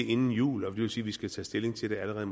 inden jul og det vil sige vi skal tage stilling til det allerede